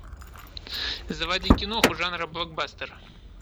заводи киноху жанра блокбастер